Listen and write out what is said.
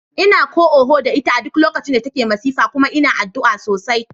Ina ko oho da ita a duk lokacin da take masifa kuma ina addu'a sosai.